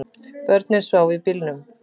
Börnin sváfu í bílnum